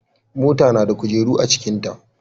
Mota nada kujeru acikin ta